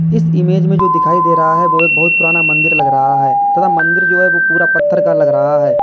इस इमेज़ में जो दिखाई दे रहा है वो एक बहुत पुराना मन्दिर लग रहा है तथा मन्दिर जो है वो पूरा पत्थर का लग रहा है।